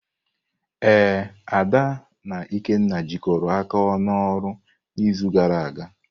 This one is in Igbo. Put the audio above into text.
Ee, Ada na Ikenna jikọrọ aka n'ọrụ n'izu gara aga.